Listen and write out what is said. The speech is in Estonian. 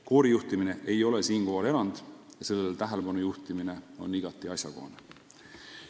Koorijuhtimine ei ole erand ja sellele tähelepanu juhtimine on igati asjakohane.